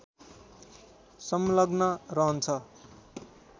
संलग्न रहन्छ